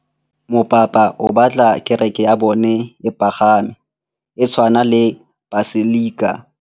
Mopapa o batla kereke ya bone e pagame, e tshwane le paselika.